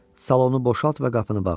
Salonu boşalt və qapını bağla.